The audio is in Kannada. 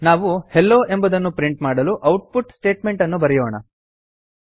ನಾವು ಹೆಲ್ಲೊ ಎಂಬುದನ್ನು ಪ್ರಿಂಟ್ ಮಾಡಲು ಔಟ್ಪುಟ್ ಸ್ಟೇಟ್ಮೆಂಟ್ ಅನ್ನು ಬರೆಯೋಣ